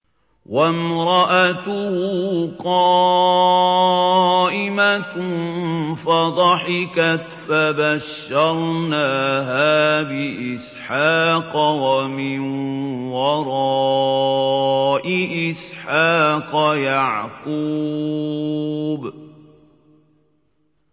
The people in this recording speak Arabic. وَامْرَأَتُهُ قَائِمَةٌ فَضَحِكَتْ فَبَشَّرْنَاهَا بِإِسْحَاقَ وَمِن وَرَاءِ إِسْحَاقَ يَعْقُوبَ